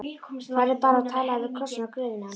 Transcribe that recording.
Farðu bara og talaðu við krossinn á gröfinni hans.